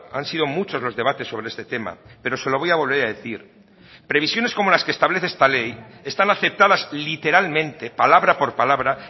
han sido muchos los debates sobre este tema pero se lo voy a volver a decir previsiones como las que establece esta ley están aceptadas literalmente palabra por palabra